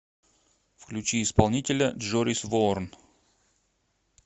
включи исполнителя джорис воорн